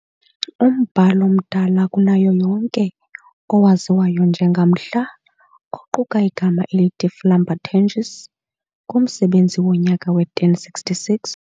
Umbhalo omdala kunayo yonke, owaziwayo njengamhla, oquka igama elithi Flambertenges, ngumsebenzi wonyaka we-1066.